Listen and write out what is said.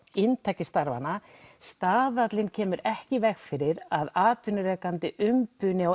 inntaki starfanna staðallinn kemur ekki í veg fyrir að atvinnurekandi umbuni á